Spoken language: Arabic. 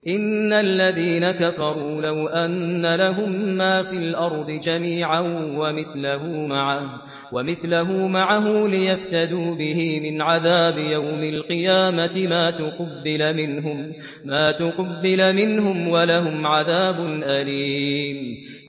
إِنَّ الَّذِينَ كَفَرُوا لَوْ أَنَّ لَهُم مَّا فِي الْأَرْضِ جَمِيعًا وَمِثْلَهُ مَعَهُ لِيَفْتَدُوا بِهِ مِنْ عَذَابِ يَوْمِ الْقِيَامَةِ مَا تُقُبِّلَ مِنْهُمْ ۖ وَلَهُمْ عَذَابٌ أَلِيمٌ